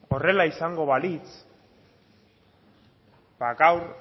horrela izango balitz ba gaur